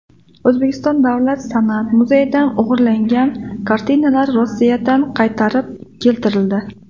O‘zbekiston Davlat san’at muzeyidan o‘g‘irlangan kartinalar Rossiyadan qaytarib keltirildi.